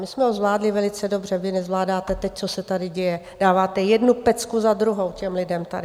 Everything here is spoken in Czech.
My jsme ho zvládli velice dobře, vy nezvládáte to, co se tady děje, dáváte jednu pecku za druhou těm lidem tady.